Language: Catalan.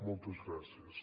moltes gràcies